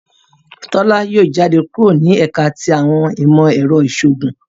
Tola Yóò jáde kúrò ni ẹka ti awọn imọ-ẹrọ iṣoogun.